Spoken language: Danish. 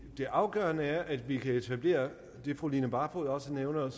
det afgørende er at vi kan etablere det fru line barfod også nævner